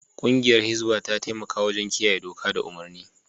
Kungiyar Hisbah ta taimaka wajen kiyaye doka da umarni.